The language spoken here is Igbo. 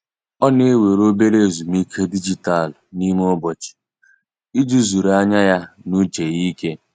Ọ na-ewere obere ezumike dijitalụ n'ime ụbọchị iji zuru anya ya na uche ya ike.